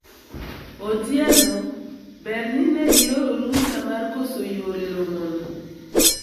Otieno ,ber ni ne ioro rusa mar koso yuoro e romono